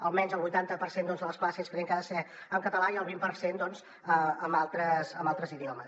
almenys el vuitanta per cent de les classes creiem que ha de ser en català i el vint per cent doncs en altres idiomes